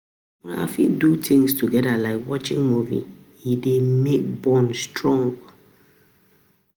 Una fit do things together like watching movie, e dey make bond strong